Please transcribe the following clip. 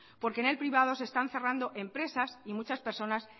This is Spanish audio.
porque en el privado se están cerrando empresas y muchas personas